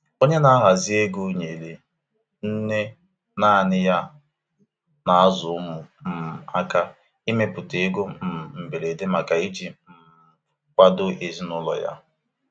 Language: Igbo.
Onye na-ahazi ego nyeere nne nanị ya na-azụ ụmụ um aka ịmepụta ego um mberede maka iji um kwado ezinụlọ ya.